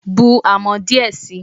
Bu amọ̀ díẹ̀ sií